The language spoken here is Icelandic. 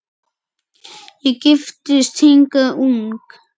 Ég giftist hingað ung